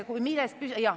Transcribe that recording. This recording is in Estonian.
Ütle nüüd.